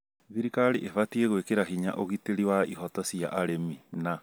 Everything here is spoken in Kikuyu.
thirikari ĩbatie gwĩkĩra hinya ũgitĩri wa ihooto cia arĩmi na